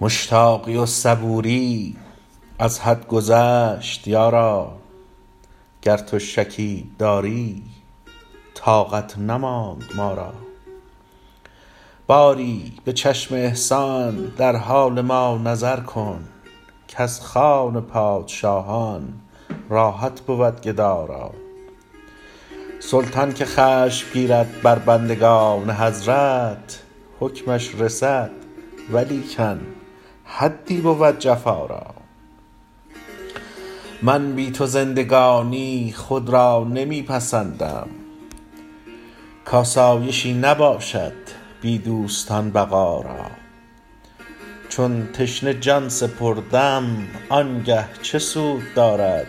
مشتاقی و صبوری از حد گذشت یارا گر تو شکیب داری طاقت نماند ما را باری به چشم احسان در حال ما نظر کن کز خوان پادشاهان راحت بود گدا را سلطان که خشم گیرد بر بندگان حضرت حکمش رسد ولیکن حدی بود جفا را من بی تو زندگانی خود را نمی پسندم کآسایشی نباشد بی دوستان بقا را چون تشنه جان سپردم آن گه چه سود دارد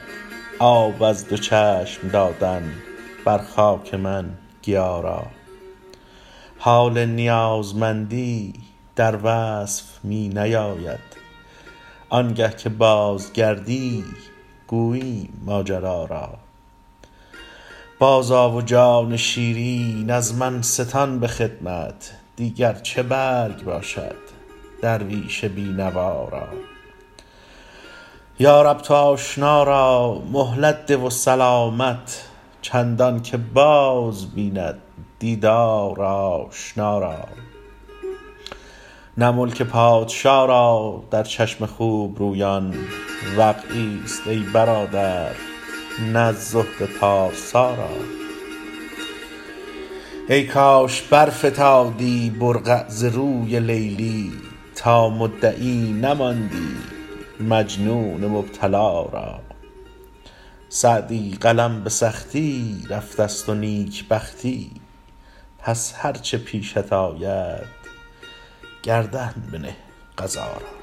آب از دو چشم دادن بر خاک من گیا را حال نیازمندی در وصف می نیاید آن گه که بازگردی گوییم ماجرا را بازآ و جان شیرین از من ستان به خدمت دیگر چه برگ باشد درویش بی نوا را یا رب تو آشنا را مهلت ده و سلامت چندان که باز بیند دیدار آشنا را نه ملک پادشا را در چشم خوب رویان وقعی ست ای برادر نه زهد پارسا را ای کاش برفتادی برقع ز روی لیلی تا مدعی نماندی مجنون مبتلا را سعدی قلم به سختی رفته ست و نیک بختی پس هر چه پیشت آید گردن بنه قضا را